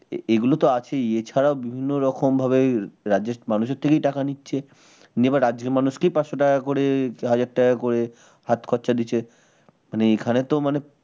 এগুলো তো আছেই এ ছাড়াও বিভিন্ন রকম ভাবে রাজ্যের মানুষের থেকেই টাকা নিচ্ছে নিয়ে এবার রাজ্যের মানুষকেই পাঁচশ টাকা করে হাজার টাকা করে হাত খরচা দিচ্ছে মানে এখানে তো মানে